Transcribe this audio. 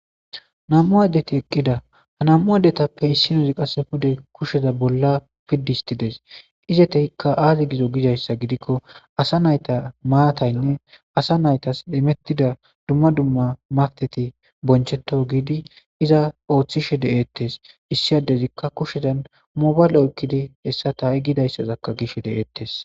Nam''u adeti eqqidda haa nam''u adetappe issinazzi qase pude kushshezza bolla pidi hostidees.izettikka azee gizo Gizayissa giko asa natas matayinne asa nayitas immetida dumma dumma matayinne boncheto hidi iza oththishshe detees.issi adezikka kushezanni mobala oyikkidi hesa taa ha'i gidayisazakka gishe dees.